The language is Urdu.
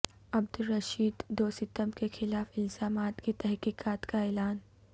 عبد الرشید دوستم کے خلاف الزامات کی تحقیقات کا اعلان